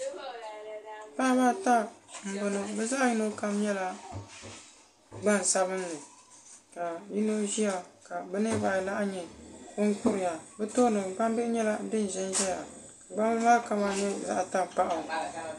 Paɣaba ata m boŋɔ bɛ zaɣa yino kam nyɛla gbansabili ka yino ʒia ka bɛ niriba anahi nyɛ ban kuriya bɛ tooni gbambihi nyɛla din ʒɛnʒɛya gbambili maa kama nyɛ zaɣa tankpaɣu.